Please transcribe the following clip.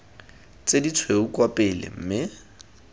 tse ditshweu kwa pele mme